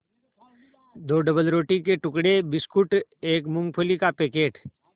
दो डबलरोटी के टुकड़े बिस्कुट एक मूँगफली का पैकेट